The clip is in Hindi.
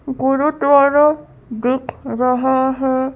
गुरुद्वारा देख रहा हैं।